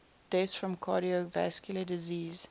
deaths from cardiovascular disease